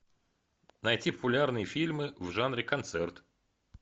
найти популярные фильмы в жанре концерт